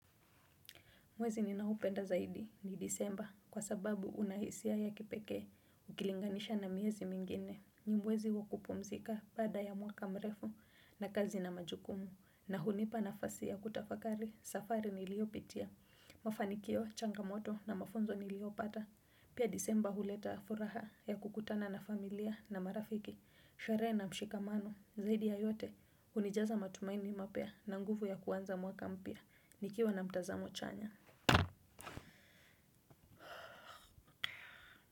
Mwezi ninaupenda zaidi ni disemba kwa sababu unahisia ya kipeke ukilinganisha na miezi mingine. Ni mwezi wakupumzika baada ya mwaka mrefu wa kazi na majukumu na hunipa nafasi ya kutafakari safari niliyopitia. Mafanikio, changamoto na mafunzo niliyopata. Pia disemba huleta furaha ya kukutana na familia na marafiki, sherehe na mshikamano zaidi ya yote hunijaza matumaini mapya na nguvu ya kuanza mwaka mpya nikiwa na mtazamo chanya. Muzika.